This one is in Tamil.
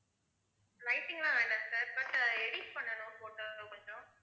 lighting எல்லாம் வேண்டாம் sir, but edit பண்ணனும் photo வ கொஞ்சம்.